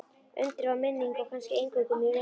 Undrið varð minning og kannski eingöngu mín minning.